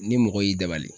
Ni mɔgɔ y'i dabali